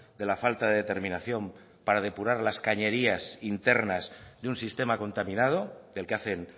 de la falta de determinación para depurar las cañerías internas de un sistema contaminado del que hacen